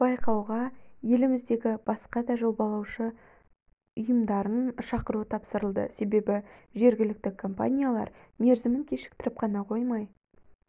байқауға еліміздегі басқа да жобалаушы ұйымдарын шақыру тапсырылды себебі жергілікті компаниялар мерзімін кешіктіріп қана қоймай